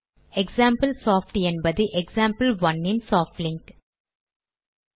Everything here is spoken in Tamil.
எக்சாம்பிள் சாப்ட் என்பது எக்சாம்பிள்1 இன் சாப்ட் லிங்க்